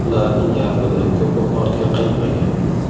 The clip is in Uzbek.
Ularning yarmidan ko‘pi ortga qaytmagan.